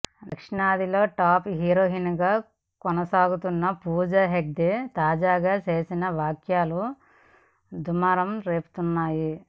దక్షిణాదిలో టాప్ హీరోయిన్గా కొనసాగుతున్న పూజా హెగ్డే తాజాగా చేసిన వ్యాఖ్యలు దుమారం రేపుతున్నాయి